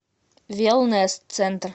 велнес центр